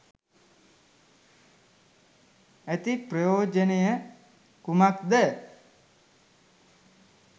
ඇති ප්‍රයෝජනය කුමක්ද?